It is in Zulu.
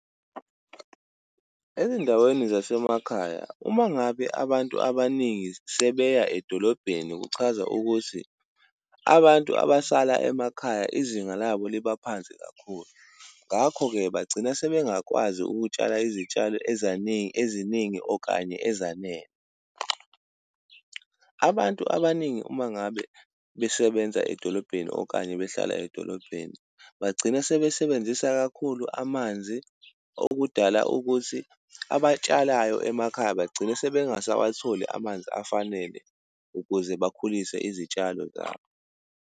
Ezindaweni zasemakhaya, uma ngabe abantu abaningi sebeya edolobheni, kuchaza ukuthi abantu abasala emakhaya izinga labo liba phansi kakhulu. Ngakho-ke bagcina sebengakwazi ukutsala izitshalo eziningi okanye ezanele. Abantu abaningi uma ngabe besebenza edolobheni okanye behlala edolobheni bagcina sebesebenzisa kakhulu amanzi. Okudala ukuthi abatshalayo emakhaya bagcina sebengasawatholi amanzi afanele, ukuze bakhulise izitshalo zabo.